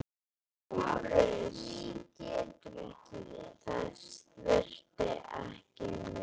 LÁRUS: Þess þurfti ekki með.